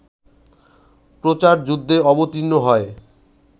প্রচারযুদ্ধে অবতীর্ণ হয়